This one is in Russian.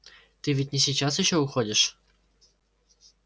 ты ведь не сейчас ещё уходишь